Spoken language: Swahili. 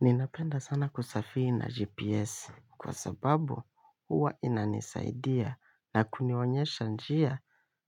Ninapenda sana kusafiri na GPS kwa sababu huwa inanisaidia na kunionyesha njia.